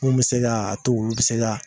Mun bi se ka to olu bi se ka